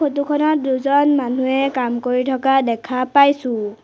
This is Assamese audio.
ফটোখনত দুজন মানুহে কাম কৰি থকা দেখা পাইছোঁ।